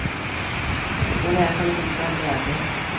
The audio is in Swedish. Hon är som gjord av läder.